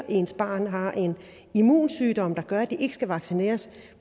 ens barn har en immunsygdom der gør at det ikke skal vaccineres